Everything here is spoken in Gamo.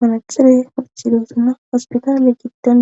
manachire hurchidosana hospitaale giitdan